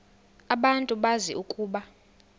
abantu bazi ukuba